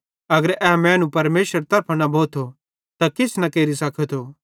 अगर ए मैनू परमेशरेरे तरफां न भोथो त किछ न केरि सकेथो